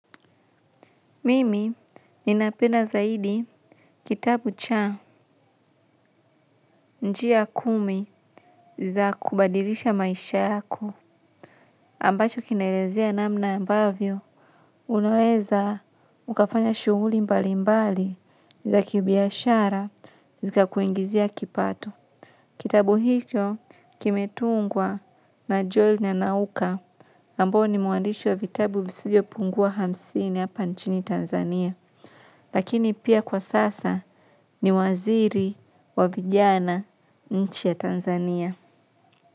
Mimi ninapenda zaidi kitabu cha njia kumi za kubadilisha maisha yako ambacho kinaelezea namna ambavyo unaweza mkafanya shughuli mbali mbali za kibiashara zikakuingizia kipato. Kitabu hicho kimetungwa na Joel na Nauka ambao ni mwandishi wa vitabu visivyopungua hamsini hapa nchini Tanzania. Lakini pia kwa sasa ni waziri wa vijana nchi ya Tanzania.